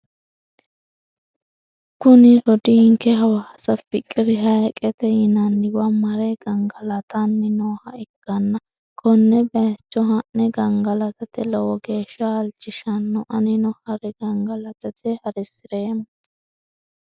Kuni rodiinke hawaasa fikiri hayiiqete yinanniwa mare gangalatanni nooha ikkanna konne bayiicho ha'ne gangalatate lowo geesha halchishanno anino harre gangalata hasireemmo.